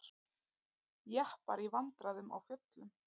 Jeppar í vandræðum á fjöllum